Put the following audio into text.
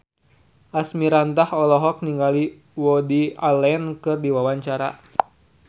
Asmirandah olohok ningali Woody Allen keur diwawancara